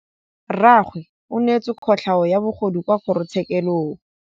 Rragwe o neetswe kotlhaô ya bogodu kwa kgoro tshêkêlông.